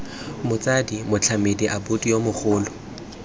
motsadi motlamedi abuti yo mogolo